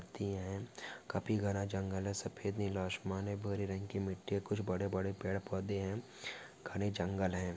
थी है काफी घना जंगल है सफ़ेद नीला आसमान है भूरे रंग की मिट्टी है कुछ बड़े बड़े पड़े पौधे है घने जंगल है।